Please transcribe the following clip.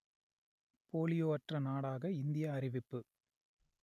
polio அற்ற நாடாக India அறிவிப்பு